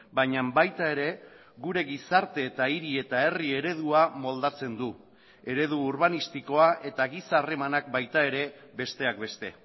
baina baita ere gure gizarte eta hiri eta herri eredua moldatzen du eredu urbanistikoa eta giza harremanak baita ere besteak beste